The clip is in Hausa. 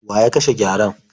Wa ya kashe gyaren?